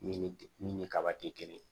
Min ni min ni kaba tɛ kelen ye